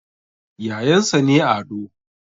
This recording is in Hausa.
Yayansa ne Ado